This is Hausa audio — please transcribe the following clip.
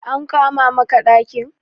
An kama maka ɗakin?